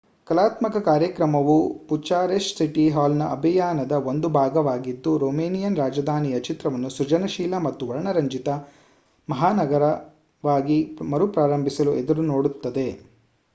ಕಲಾತ್ಮಕ ಕಾರ್ಯಕ್ರಮವು Bucharest city ಹಾಲ್‌ನ ಅಭಿಯಾನದ ಒಂದು ಭಾಗವಾಗಿದ್ದು ರೊಮೇನಿಯನ್ ರಾಜಧಾನಿಯ ಚಿತ್ರವನ್ನು ಸೃಜನಶೀಲ ಮತ್ತು ವರ್ಣರಂಜಿತ ಮಹಾನಗರವಾಗಿ ಮರುಪ್ರಾರಂಭಿಸಲು ಎದುರು ನೋಡುತ್ತದೆ